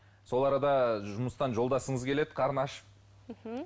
сол арада жұмыстан жолдасыңыз келеді қарны ашып мхм